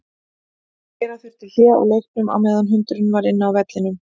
Gera þurfti hlé á leiknum á meðan hundurinn var inn á vellinum.